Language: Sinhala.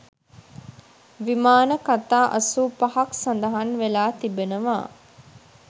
විමාන කථා අසූපහක් සඳහන් වෙලා තිබෙනවා